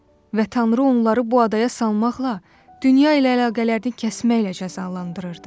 Və Tanrı onları bu adaya salmaqla dünya ilə əlaqələrini kəsməklə cəzalandırırdı.